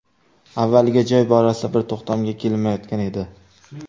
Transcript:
Avvaliga joy borasida bir to‘xtamga kelinmayotgan edi.